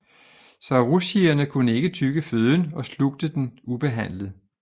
Saurischierne kunne ikke tygge føden og slugte den ubehandlet